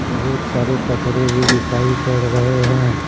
बहुत सारे कचरे भी दिखाई पड़ रहे हैं।